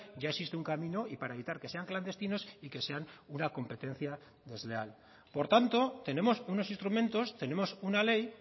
ya existe un camino y para evitar que sean clandestinos y que sean una competencia desleal por tanto tenemos unos instrumentos tenemos una ley